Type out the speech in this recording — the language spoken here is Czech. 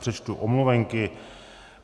Přečtu omluvenky.